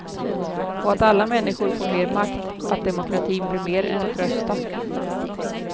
Och att alla människor får mer makt, att demokratin blir mer än att rösta.